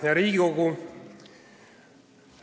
Hea Riigikogu!